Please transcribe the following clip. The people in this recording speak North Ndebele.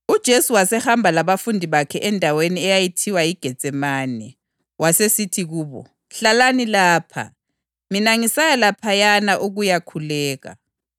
Kodwa uPhethro wala wagomela wathi, “Loba kungenzeka ukuba ngife lawe, ngeke lanini ngikuphike.” Abanye abafundi labo batsho njalo. EGetsemane